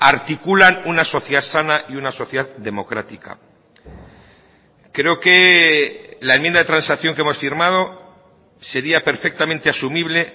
articulan una sociedad sana y una sociedad democrática creo que la enmienda de transacción que hemos firmado sería perfectamente asumible